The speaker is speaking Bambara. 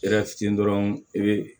fitinin dɔrɔn i be